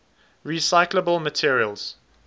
recyclable materials